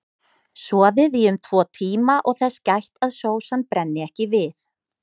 Soðið í um tvo tíma og þess gætt að sósan brenni ekki við.